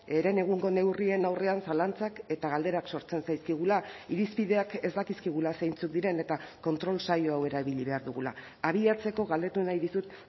herenegungo neurrien aurrean zalantzak eta galderak sortzen zaizkigula irizpideak ez dakizkigula zeintzuk diren eta kontrol saio hau erabili behar dugula abiatzeko galdetu nahi dizut